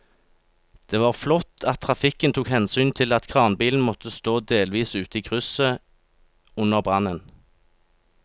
Det var flott at trafikken tok hensyn til at kranbilen måtte stå delvis ute i krysset under brannen.